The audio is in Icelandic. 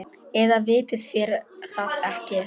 Eða vitið þér það ekki.